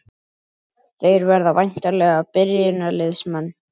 Þeir verða væntanlega byrjunarliðsmenn?